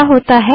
क्या होता है